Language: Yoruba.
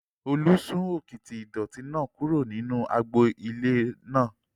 Olú sún òkìtì ìdọ̀ọ̀tí náà kúrò nínú agbo ilé náà